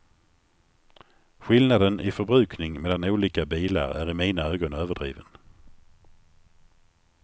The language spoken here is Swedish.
Skillnaden i förbrukning mellan olika bilar är i mina ögon överdriven.